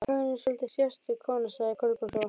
Hugrún er svolítið sérstök kona sagði Kolbrún svo.